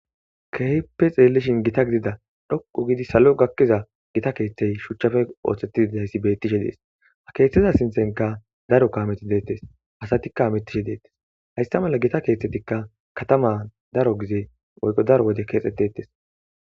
kehipe xeellishin gita gidida dhoqu gidi salo gakkiza gita keeththey shuchchafe ooththettiidayssi bettishe dees ha keeththiza sinthenka daro kameti deettes hasatikka mittishe deettes haysta mala gita keeththetikka katama daro gizee oyqo daro wode keexxetettes